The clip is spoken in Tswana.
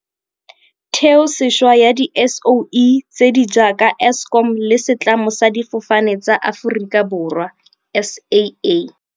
Theosešwa ya di-SOE tse di jaaka Eskom le Setlamo sa Difo fane tsa Aforika Borwa, SAA..